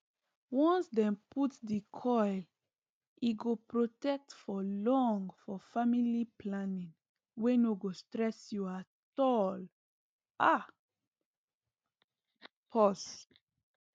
once dem put di coil e go protect for long for family planning wey no go stress you at all ah pause